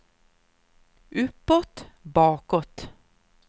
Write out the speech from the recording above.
uppåt bakåt